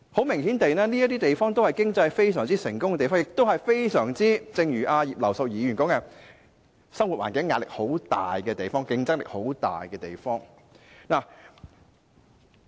明顯地，這些均是經濟非常成功的地方，亦正如葉劉淑儀議員所說，這些亦是生活環境壓力和競爭很大的地方。